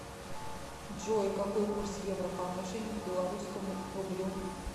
джой какой курс евро по отношению к белорусскому рублю